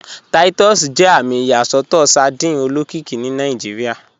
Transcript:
Titus jẹ àmì ìyàsọtọ sardine olókìkí ni Nàìjíríà.